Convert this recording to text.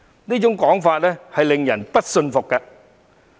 這種說法令人不信服。